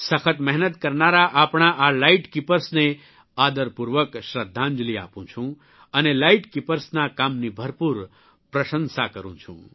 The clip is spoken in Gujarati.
સખત મહેનત કરનારા આપણા આ લાઇટ કિપર્સને આદરપૂર્વક શ્રદ્ધાંજલિ આપું છું અને લાઇટ કિપર્સના કામની ભરપૂર પ્રશંસા કરૂં છું